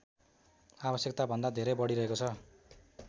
आवश्यकताभन्दा धेरै बढिरहेको छ